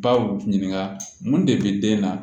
Baw ɲininka mun de bɛ den na